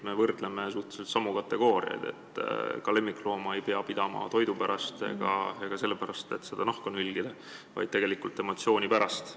Me võrdleme suhteliselt samu kategooriaid: ka lemmiklooma ei pea pidama toidu pärast ega selle pärast, et talt nahka nülgida, vaid tegelikult peetakse neid emotsiooni pärast.